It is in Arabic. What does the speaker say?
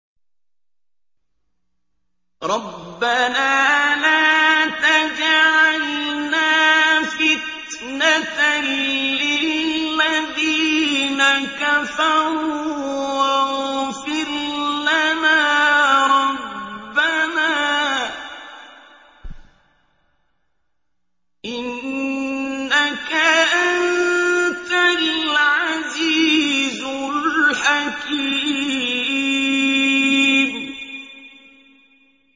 رَبَّنَا لَا تَجْعَلْنَا فِتْنَةً لِّلَّذِينَ كَفَرُوا وَاغْفِرْ لَنَا رَبَّنَا ۖ إِنَّكَ أَنتَ الْعَزِيزُ الْحَكِيمُ